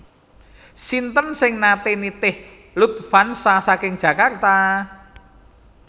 Sinten sing nate nitih Lufthansa saking Jakarta?